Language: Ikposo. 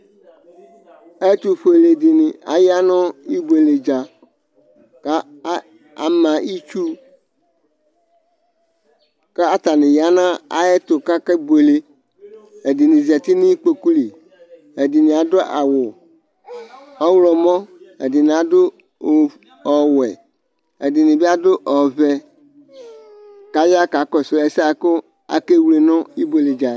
ɛtufuɛlɛ ɖịɲi ɑyɑni buɛlɛdzɑ ɑmɑ itsu kɑtɑniyɑ 'ɑyɛtu kɑkɛbuɛlɛ ɛdini zɑti nikpokuli ɛdini ɑdu ɑwu ɔhlɔmɔ́ ɛdini ɑdu o ɔwuɛ ɛdinibiɑdu ɔvɛ kɑyɑkɑkɔsu ɛsɛku ɑkɛwlɛ nu ibuɛlɛdzɑyɛ